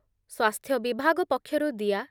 ସ୍ଵାସ୍ଥ୍ୟ ବିଭାଗ ପକ୍ଷରୁ ଦିଆ